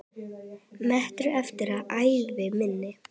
metri eftir af ævi minni.